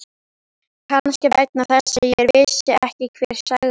Kannski vegna þess að ég vissi ekki hver sagði.